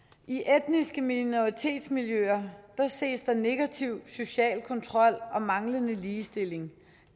i etniske minoritetsmiljøer ses der negativ social kontrol og manglende ligestilling